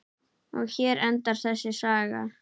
Og hér endar þessi saga.